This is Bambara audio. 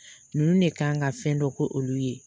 Ninnu de ka kan ka fɛn dɔ k' olu ye.